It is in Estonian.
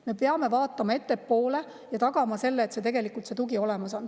Me peame vaatama ettepoole ja tagama, et see tugi on olemas.